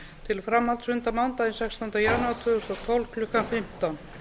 til framhaldsfunda mánudaginn sextánda janúar tvö þúsund og tólf klukkan fimmtán